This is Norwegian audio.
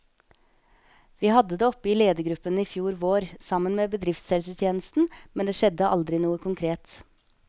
Vi hadde det oppe i ledergruppen i fjor vår, sammen med bedriftshelsetjenesten, men det skjedde aldri noe konkret.